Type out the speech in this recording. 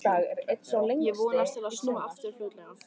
Ég vonast til að snúa aftur fljótlega.